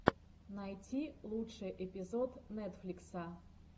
найти лучший эпизод нетфликса